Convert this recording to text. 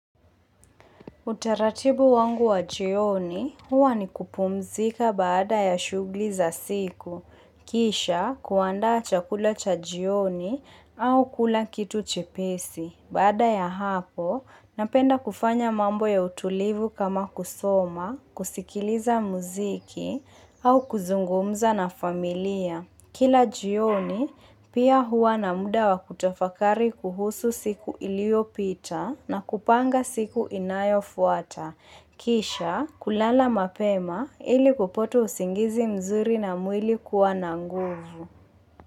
Utaratibu wangu wa jioni huwa ni kupumzika baada ya shughuli za siku. Kisha kuandaa chakula cha jioni au kula kitu chepesi. Baada ya hapo, napenda kufanya mambo ya utulivu kama kusoma, kusikiliza muziki au kuzungumza na familia. Kila jioni, pia huwa na muda wa kutafakari kuhusu siku iliyo pita na kupanga siku inayo fuata. Kisha, kulala mapema ili kupato usingizi mzuri na mwili kuwa na nguvu.